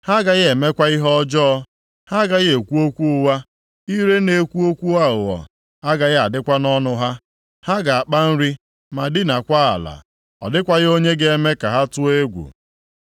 Ha agaghị emekwa ihe ọjọọ, ha agaghị ekwu okwu ụgha. Ire na-ekwu okwu aghụghọ agaghị adịkwa nʼọnụ ha. Ha ga-akpa nri ma dinakwa ala, ọ dịkwaghị onye ga-eme ka ha tụọ egwu.”